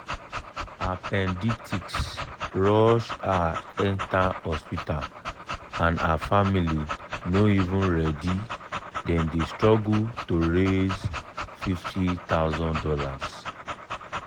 appendicitis rush her enter hospital and her family family no even ready dem dey struggle to raise fifty thousand dollars."